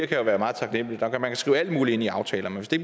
kan være meget taknemligt man kan skrive alt muligt ind i aftaler men hvis det